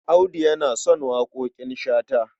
Audu yana son waƙoƙin Shata.